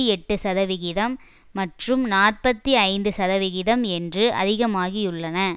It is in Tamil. எட்டு சதவிகிதம் மற்றும் நாற்பத்தி ஐந்து சதவிகிதம் என்று அதிகமாகியுள்ளன